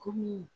Komi